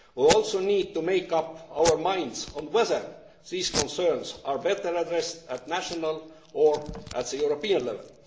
We also need to make up our minds on whether these concerns are better addressed at national or European level.